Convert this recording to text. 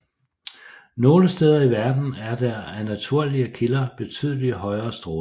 Nogen steder i verden er der af naturlige kilder betydelige højere stråling